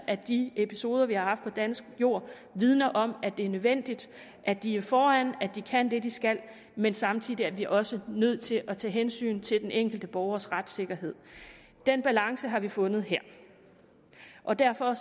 at de episoder vi har haft på dansk jord vidner om at det er nødvendigt at de er foran at de kan det de skal men samtidig er vi også nødt til at tage hensyn til den enkelte borgers retssikkerhed den balance har vi fundet her og derfor